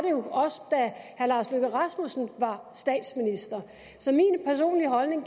jo også da herre lars løkke rasmussen var statsminister så min personlige holdning